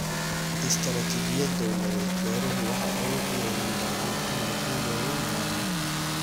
Istaraatiijiyad dawladeed, beeruhu waxay awood u yeelan doonaan inay guulo waaweyn gaaraan.